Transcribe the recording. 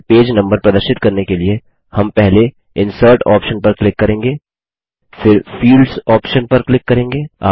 footer में page number प्रदर्शित करने के लिए हम पहले इंसर्ट ऑप्शन पर क्लिक करेंगे